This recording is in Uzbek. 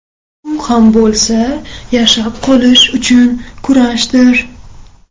U ham bo‘lsa yashab qolish uchun kurashdir.